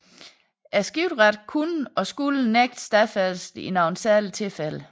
Skifteretten kunne og skulle nægte stadfæstelse i nogle særlige tilfæde